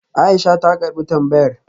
Aisha ta karbi tambayar